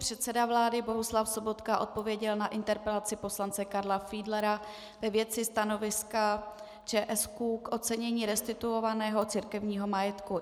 Předseda vlády Bohuslav Sobotka odpověděl na interpelaci poslance Karla Fiedlera ve věci stanoviska ČSÚ k ocenění restituovaného církevního majetku.